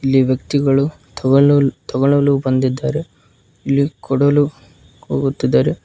ಇಲ್ಲಿ ವ್ಯಕ್ತಿಗಳು ತಗೊಂಡ ತಗೋಳಲು ಬಂದಿದ್ದಾರೆ ಇಲ್ಲಿ ಕೊಡಲು ಹೋಗುತ್ತಿದ್ದಾರೆ.